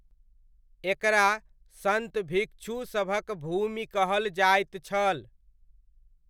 एकरा सन्त भिक्षु सभक भूमि कहल जाइत छल।